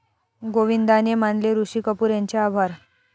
गोविंदाने मानले ऋषी कपूर यांचे आभार